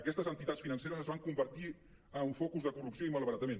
aquestes entitats financeres es van convertir en un focus de corrupció i malbaratament